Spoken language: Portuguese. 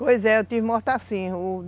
Pois é, eu tive morte assim.